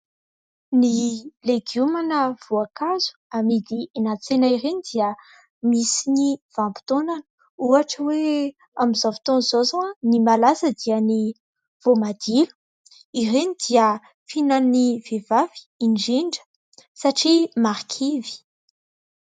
ny legioma na voankazo amidy eny an-tsena ireny dia misy ny vanimpotoanany ohatra hoe amin'izao fotoana izao izao ny malaza dia ny voamadilo ireny dia fihinan'ny vehivavy indrindra satria marikivy